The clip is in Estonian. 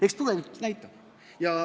Eks tulevik näitab.